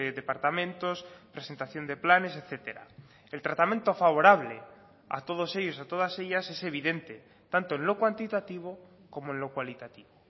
departamentos presentación de planes etcétera el tratamiento favorable a todos ellos a todas ellas es evidente tanto en lo cuantitativo como en lo cualitativo